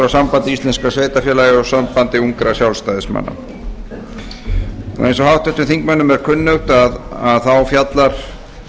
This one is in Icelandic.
sambandi íslenskra sveitarfélaga og sambandi ungra sjálfstæðismanna eins og háttvirtum þingmönnum er kunnugt fjallar